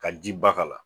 Ka ji ba k'a la